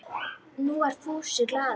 Nú var Fúsi glaður.